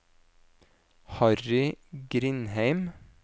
Harry Grindheim